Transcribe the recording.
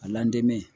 A l'an denmu